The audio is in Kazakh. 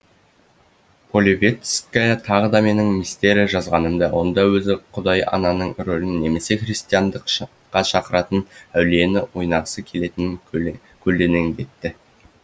полевицкая тағы да менің мистерия жазғанымды онда өзі құдай ананың рөлін немесе христиандыққа шақыратын әулиені ойнағысы келетінін көлденеңдетті